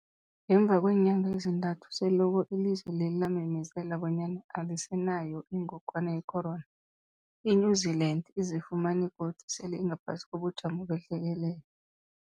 Ngemva kweenyanga ezintathu selokhu ilizwe lela lamemezela bonyana alisenayo ingogwana yecorona , i-New Zealand izifumana godu sele ingaphasi kobujamo behlekelele.